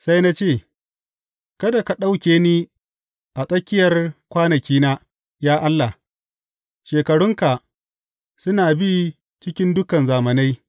Sai na ce, Kada ka ɗauke ni a tsakiyar kwanakina, ya Allah; shekarunka suna bi cikin dukan zamanai.